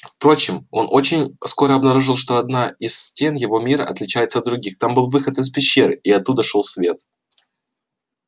впрочем он очень скоро обнаружил что одна из стен его мира отличается от других там был выход из пещеры и оттуда шёл свет